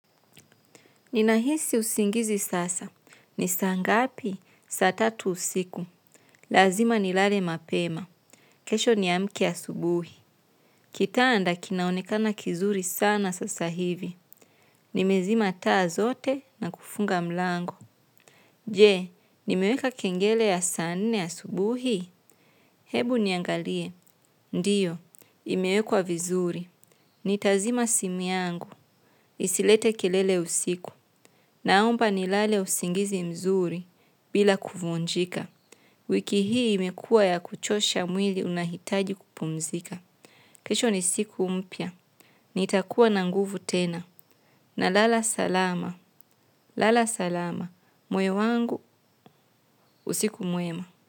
Ninahisi usingizi sasa. Ni saa ngapi? Saa tatu usiku. Lazima nilale mapema. Kesho niamke asubuhi. Kitanda kinaonekana kizuri sana sasa hivi. Nimezima taa zote na kufunga mlango. Je, nimeweka kengele ya saa nne asubuhi? Hebu niangalie. Ndiyo, imewekwa vizuri. Nitazima simu yangu, isilete kelele usiku, naomba nilale usingizi mzuri bila kuvunjika. Wiki hii imekuwa ya kuchosha mwili unahitaji kupumzika. Kesho ni siku mpya, nitakuwa na nguvu tena, nalala salama, lala salama, moyo wangu, usiku mwema.